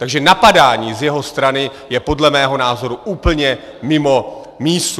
Takže napadání z jeho strany je podle mého názoru úplně mimo mísu.